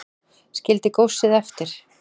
Skildi góssið eftir